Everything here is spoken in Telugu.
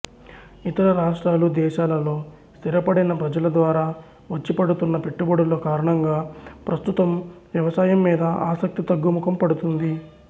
ఇతర రాష్ట్రాలు దేశాలలో స్థిరపడిన ప్రజలద్వారా వచ్చి పడుతున్న పెట్టుబడుల కారణంగా ప్రస్తుతం వ్యవసాయం మీద ఆసక్తి తగ్గుముఖం పడుతుంది